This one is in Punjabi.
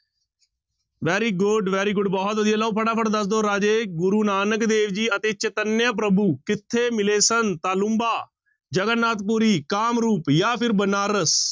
Very good, very good ਬਹੁਤ ਵਧੀਆ ਲਓ ਫਟਾਫਟ ਦੱਸ ਰਾਜੇ ਗੁਰੂ ਨਾਨਕ ਦੇਵ ਜੀ ਅਤੇ ਚੇਤੰਨਿਆ ਪ੍ਰਭੂ ਕਿੱਥੇ ਮਿਲੇ ਸਨ ਤਾਲੂੰਬਾ, ਜਗੰਨਾਥ ਪੁਰੀ, ਕਾਮਰੂਪ ਜਾਂ ਫਿਰ ਬਨਾਰਸ।